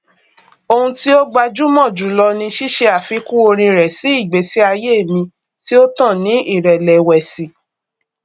ohun tí ó gbajúmọ jùlọ ni ṣíṣe àfikún orin rẹ sí ìgbésí ayé mi tí ó tàn ní ìrẹlẹwẹsì